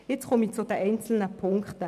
Jetzt komme ich zu den einzelnen Ziffern.